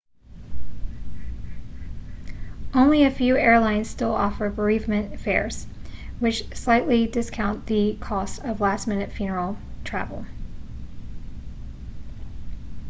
only a few airlines still offer bereavement fares which slightly discount the cost of last-minute funeral travel